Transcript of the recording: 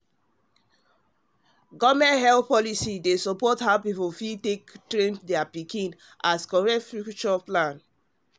government health policy dey support how people fit train pikin as correct plan for future